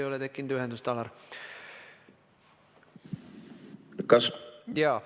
Meil ei ole ühendust, Alar.